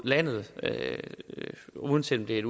lande uanset om det